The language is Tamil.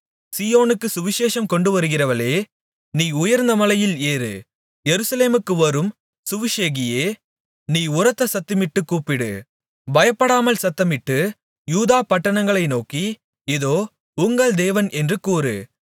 சீயோனுக்கு சுவிசேஷம் கொண்டுவருகிறவளே நீ உயர்ந்த மலையில் ஏறு எருசலேமுக்கு வரும் சுவிசேஷகியே நீ உரத்த சத்தமிட்டுக் கூப்பிடு பயப்படாமல் சத்தமிட்டு யூதா பட்டணங்களை நோக்கி இதோ உங்கள் தேவன் என்று கூறு